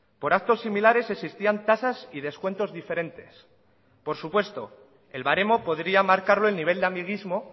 por actos similares existían tasas y descuentos diferentes por supuesto el baremo podría marcarlo el nivel de amiguismo